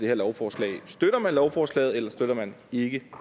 her lovforslag støtter man lovforslaget eller støtter man ikke